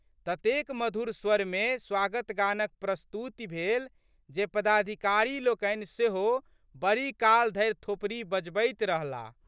ततेक मधुर स्वरमे स्वागतगानक प्रस्तुति भेल जे पदाधिकारीलोकनि सेहो बड़ीकाल धरि थोपड़ी बजबैत रहलाह।